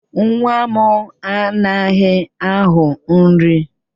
Nwa m anaghị aghọ nri